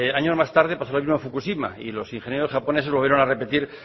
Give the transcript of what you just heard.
años más tarde paso lo mismo en fukushima y los ingenieros japoneses volvieron a repetir